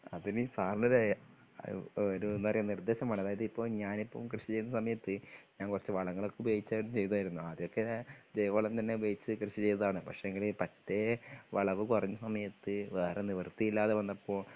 അതിന് സാറിൻ്റെ ആ ഇപ്പോ ഒരു എന്താ പറയാ നിർദേശം വേണം അതായത് ഇപ്പോ ഞാനിപ്പം കൃഷി ചെയ്യുന്ന സമയത്ത് ഞാൻ കുറച്ച് വളങ്ങളൊക്കെ ഉപയോഗിച്ചായിരുന്നു ചെയ്തായിരുന്നു ആദ്യമൊക്കെ ജൈവവളം തന്നെ ഉപയോഗിച്ച് കൃഷി ചെയ്തതാണ് പക്ഷേങ്കില് പറ്റേ വിളവ് കുറഞ്ഞ സമയത്ത് വേറെ നിവൃത്തിയില്ലാതെ വന്നപ്പോ